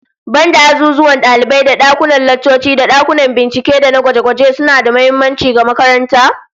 Banda azuzuwan dalibai da dakunan laccoci, dakunan bincike da gwaje-gwaje suna da muhimmanci ga makaranta